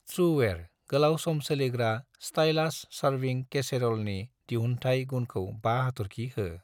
त्रुवेयार गोलाव सम सोलिग्रा स्टाइलास सार्विं केसेरलनि दिहुनथाइ गुनखौ 5 हाथरखि हो